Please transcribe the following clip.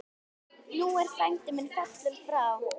Nú er frændi fallinn frá.